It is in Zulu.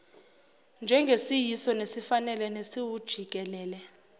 njengesiyiso nesifanele nesiwujikelele